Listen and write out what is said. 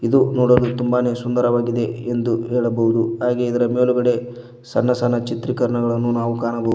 ಇದು ನೋಡಲು ತುಂಬಾನೆ ಸುಂದರವಾಗಿದೆ ಎಂದು ಹೇಳಬಹುದು ಹಾಗೆ ಇದರ ಮೇಲ್ಗಡೆ ಸಣ್ಣ ಸಣ್ಣ ಚಿತ್ರೀಕರಣಗಳನ್ನು ನಾವು ಕಾಣಬ--